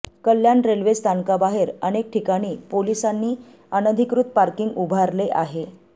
कल्याण railway स्थानकाबाहेर अनेक ठिकाणी पोलिसांनी अनधिकृत पार्किंग उभारले आहे